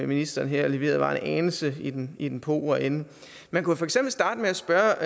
ministeren leverede her var en anelse i den i den pauvre ende man kunne for eksempel starte med at spørge